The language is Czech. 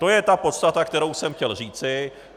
To je ta podstata, kterou jsem chtěl říci.